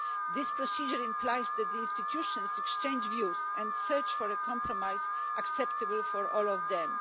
This procedure implies that the institutions exchange views and search for a compromise acceptable for all of them.